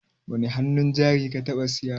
Wani hannun jari ka taɓa siya?